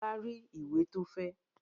Bọ́lá rí ìwé tó fẹ́?